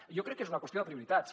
jo crec que és una qüestió de prioritats